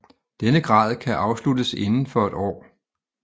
Denne grad kan afsluttes inden for et år